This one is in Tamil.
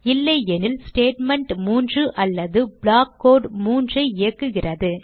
இல்லையெனில் ஸ்டேட்மெண்ட் 3 அல்லது ப்ளாக் கோடு 3 ஐ இயக்குகிறது